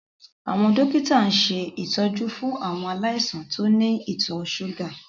Àwọn dókítà ń ṣe ìtọ́jú fún àwọn aláìsàn tí ó ní ìtọ̀ ṣúgà